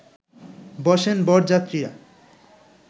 বসেন বরযাত্রীরা